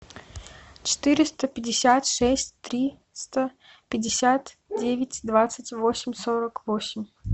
четыреста пятьдесят шесть триста пятьдесят девять двадцать восемь сорок восемь